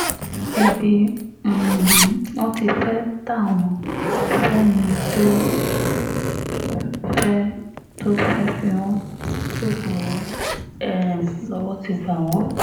ibi um wọn ti fẹ́ẹ́ ta wọ́n fẹ́ni tó fẹ́ẹ́ tó fẹ́ẹ́ fi wọ́n ṣoògùn owó um lọ́wọ́ ti bá wọn